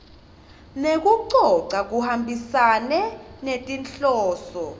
nekucoca kuhambisane netinhloso